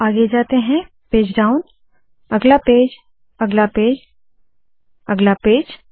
थोडा आगे जाते है पेज डाउन अगला पेज अगला पेज अगला पेज